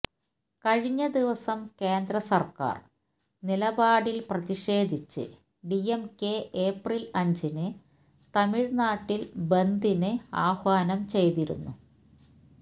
കഴിഞ്ഞ ദിവസം കേന്ദ്രസര്ക്കാര് നിലപാടില് പ്രതിഷേധിച്ച് ഡിഎംകെ ഏപ്രില് അഞ്ചിന് തമിഴ്നാട്ടില് ബന്ദിന് ആഹ്വാനം ചെയ്തിരുന്നു